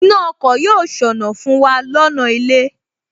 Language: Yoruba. Iná ọkọ̀ yóò ṣọnà fún wa lọ́nà ilé